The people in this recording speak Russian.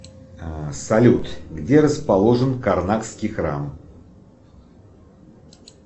салют где расположен карнакский храм